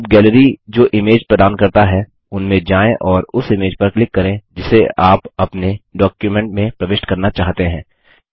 अब गैलरी जो इमेज प्रदान करता है उनमें जाएँ और उस इमेज पर क्लिक करें जिसे आप अपने डॉक्युमेंट में प्रविष्ट करना चाहते हैं